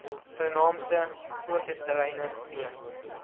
vernaamste fokusterreine b